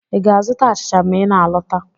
Ị ga-azụta achịcha ma ị na-alọta?